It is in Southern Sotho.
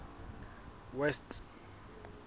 west